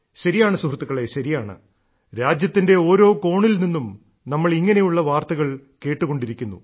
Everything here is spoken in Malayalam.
ശരിയാണ് സുഹൃത്തുക്കളെ ശരിയാണ് രാജ്യത്തിന്റെ ഓരോ കോണിൽ നിന്നും നമ്മൾ ഇങ്ങനെയുള്ള വാർത്തകൾ കേട്ടുകൊണ്ടിരിക്കുന്നു